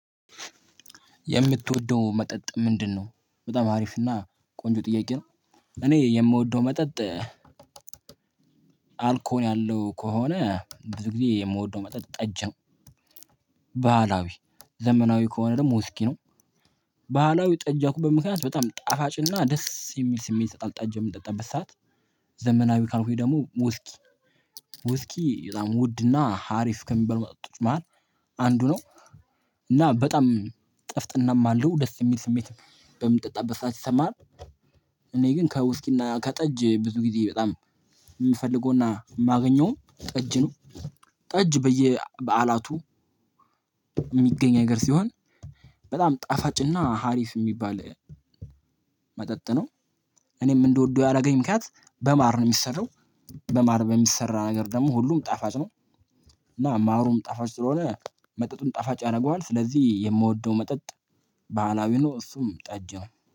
የምትወደው መጠጥ ምንድነው? በጣም አሪፍ እና ቆንጆ ጥያቄ ነው። እኔ የምወደው መጠጥ አልኮል ያለው ከሆነ ብዙ ጊዜ የምወደው መጠጥ ጠጅ ነው። ባህላዊ ዘመናዊ ከሆነ ደግሞ እስኪ ነው። ባህላዊ ጠጂ ያልኩበት ምክንያት በጣም ጣፋጭና ደስ የሚል ስሜት ይሰጣል ጠጂ የምንጠጣበት ሰዓት። ዘመናዊ ካልኩኝ ደግሞ ውስኪ ውስኪ በጣም ውድና ሀሪፍ ከሚባል መጥቶች መሃል አንዱ ነው። እና በጣም ጥፍጥናም አለው ደስ የሚል ስሜት በምጠጣበት ሰዓት ይሰማል። እኔ ግን ከውስኪና ከጠጅ ብዙ ጊዜ በጣም የምፈልገውና የማገኘው ጠጅ ነው። ጠጅ በየበአላቱ የሚገኝ ነገር ሲሆን። በጣም ጣፋጭና ሀሪፍ የሚባል መጠጥ ነው። እኔም እንድወደው ያደረገኝ ምክንያት በማር ነው እሚሰራው። በማር በሚሰራ ነገር ደግሞ ሁሉም ጣፋጭ ነው። እና አማሩም ጣፋጭ ስለሆነ መጠጡን ጣፋጭ ያደርገዋል ስለዚህ የምወደው መጠጥ ባህላዊ ነው እሱም ጠጅ ነው